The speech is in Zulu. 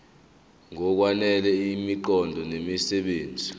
ngokwanele imiqondo nemisebenzi